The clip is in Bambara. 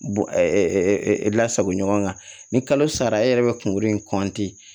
Bon lasago ɲɔgɔn kan ni kalo sara e yɛrɛ bɛ kunkolo in